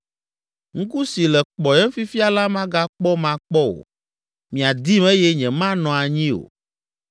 Ŋku si le kpɔyem fifia la magakpɔm akpɔ o, miadim eye nyemanɔ anyi o.